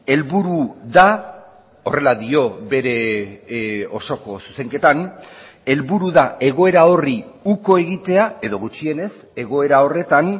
helburu da horrela dio bere osoko zuzenketan helburu da egoera horri uko egitea edo gutxienez egoera horretan